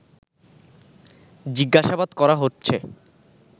জিজ্ঞাসাবাদ করা হচ্ছে